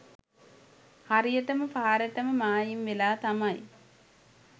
හරියටම පාරටම මායිම් වෙලා තමයි